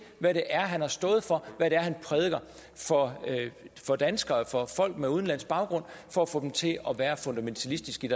hvad det er han har stået for hvad det er han prædiker for danskere og for folk med udenlandsk baggrund for at få dem til at være fundamentalistiske